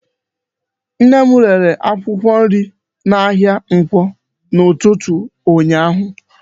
Nne m rere akwụkwọ nri n'ahịa Nkwọ n'ụtụtụ ụnyaahụ.